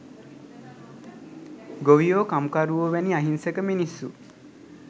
ගොවියෝ කම්කරුවෝ වැනි අහිංසක මිනිස්‌සු.